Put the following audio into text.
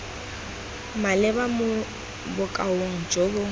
maleba mo bokaong jo bo